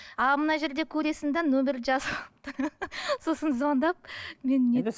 ал мына жерде көресің де нөмірді сосын звондап